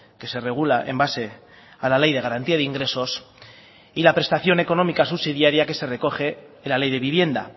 que se regula en base a la ley de garantía de ingresos y la prestación económica subsidiaria que se recoge en la ley de vivienda